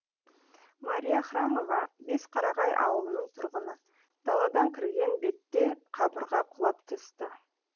мария храмова бесқарағай ауылының тұрғыны даладан кірген бетте қабырға құлап түсті